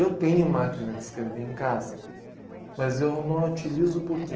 Eu tenho máquina de escrever em casa, mas eu não a utilizo por quê?